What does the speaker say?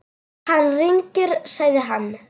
Hann rignir, sagði hann.